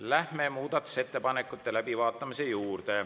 Läheme muudatusettepanekute läbivaatamise juurde.